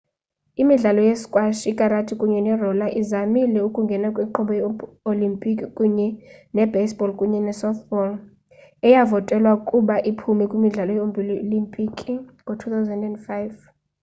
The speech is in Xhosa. imidlalo ye-squash ikarati kunye ne-roller izamile ukungena kwinkqubo ye-olimpiki kunye ne-baseball kunye ne-softball eyavotelwa ukuba iphume kwimidlalo ye-olimpiki ngo-2005